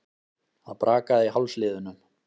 Það brakaði í hálsliðunum.